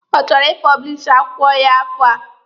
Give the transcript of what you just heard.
Ọ chọrọ ị pọblishi akwụkwọ ya n'afọ a?